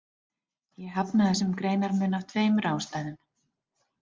Ég hafna þessum greinarmun af tveimur ástæðum.